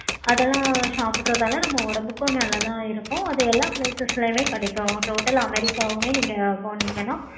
அதெல்லாம் சாப்பிடுறதுனால நம்ம உடம்புக்கும் நல்லததான் இருக்கும். அது எல்லா places ளையும் கிடைக்கும். total america ஆஹ் வுமே போனீங்கன்னா